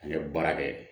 An ye baara kɛ